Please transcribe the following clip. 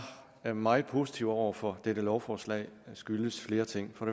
er meget positive over for dette lovforslag skyldes flere ting